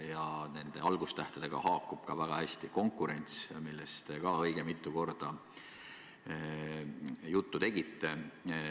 Ja nende sõnade algustähega haakub ka väga hästi "konkurents", millest te ka õige mitu korda juttu tegite.